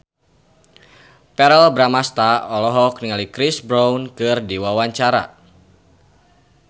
Verrell Bramastra olohok ningali Chris Brown keur diwawancara